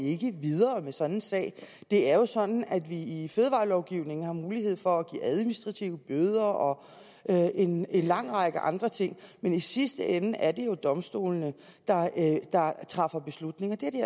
ikke videre med sådan en sag det er jo sådan at vi i fødevarelovgivningen har mulighed for at give administrative bøder og en lang række andre ting men i sidste ende er det jo domstolene der træffer beslutning og det har de